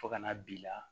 Fo ka na b'i la